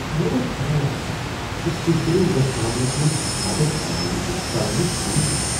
مےٚ گوٚژھ پَے آسُن زِ تُہۍ كرِو یتھ معاملس منز مدد کرنہ نِشہِ ژلنٕچ كوشِش۔